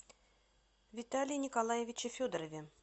виталии николаевиче федорове